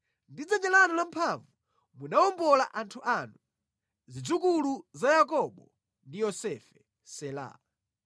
Ndi dzanja lanu lamphamvu munawombola anthu anu, zidzukulu za Yakobo ndi Yosefe. Sela